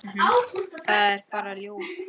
Það er bara ljóð.